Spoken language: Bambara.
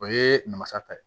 O ye namasa ta ye